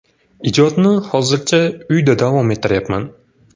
Ijodni hozircha uyda davom ettiryapman”.